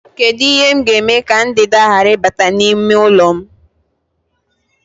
Kedu ihe m ga-eme ka ndanda ghara ịbata n'ime ụlọ m?